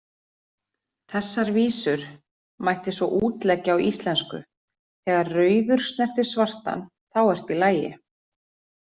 Þessar vísur mætti svo útleggja á íslensku: Þegar rauður snertir svartan, þá ertu í lagi,